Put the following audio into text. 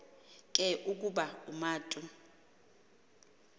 ke ukuba umatu